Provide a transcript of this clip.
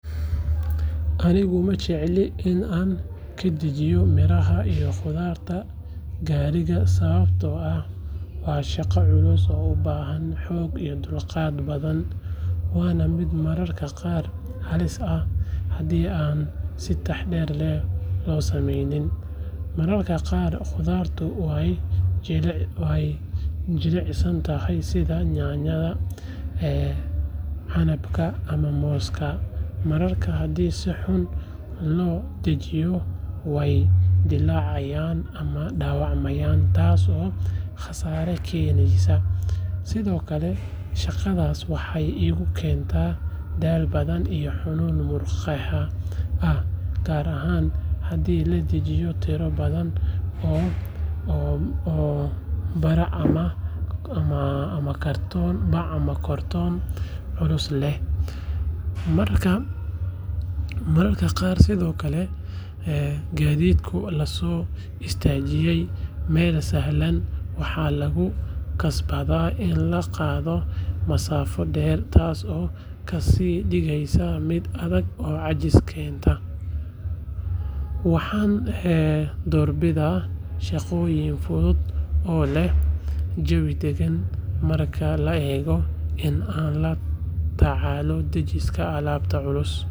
Anigu ma jecli in aan ka dejiyo miraha iyo khudaarta gaadiidka sababtoo ah waa shaqo culus oo u baahan xoog iyo dulqaad badan waana mid mararka qaar halis ah haddii aan si taxaddar leh loo samaynin. Mararka qaar khudaartu waa jilicsan tahay sida yaanyada, canabka ama mooska, markaas haddii si xun loo dejiyo way dilaacayaan ama dhaawacmaya taasoo khasaare keeneysa. Sidoo kale, shaqadaas waxay igu keentaa daal badan iyo xanuun muruqyada ah gaar ahaan haddii la dejinayo tiro badan oo bac ah ama kartoono culus leh. Mararka qaar sidoo kale gaadiidka lama soo istaajiyo meel sahlan, waxaana lagu khasbanaa in la qaado masaafo dheer, taasoo ka sii dhigeysa mid adag oo caajis keenta. Waxaan doorbidaa shaqooyin fudud oo leh jawi dagan marka loo eego in aan la tacaalo dejinta alaab culus.